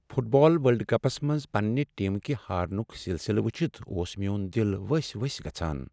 Fit بال world cups منٛز پننہ ٹیمکہِ ہارنُک سلسلہٕ وچھتھ اوس میٚون دل ؤسۍ ؤسۍ گژھان۔